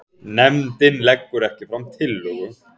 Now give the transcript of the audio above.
Nefndin leggur ekki fram tillögu